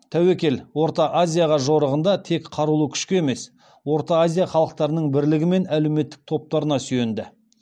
тәуекел орта азияға жорығында тек қарулы күшке емес орта азия халықтарының белгілі бір әлеуметтік топтарына сүйенді